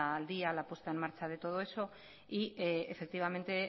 al día la puesta en marcha de todo eso y efectivamente